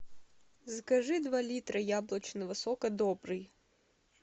закажи два литра яблочного сока добрый